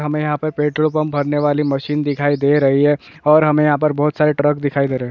हमें यहाँ पर पेट्रोल पम्प भरने वाली मशीन दिखाई दे रही है और हमे यहाँ पर बहुत सारे ट्रक दिखाई दे रहे है।